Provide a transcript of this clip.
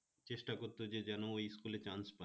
চেষ্টা করত যে যেন ওই school এ chance পায়